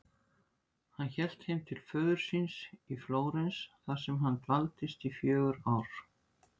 Hann hélt heim til föður síns í Flórens þar sem hann dvaldist í fjögur ár.